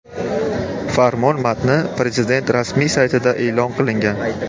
Farmon matni Prezident rasmiy saytida e’lon qilingan .